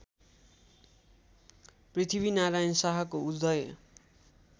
पृथ्वीनारायण शाहको उदय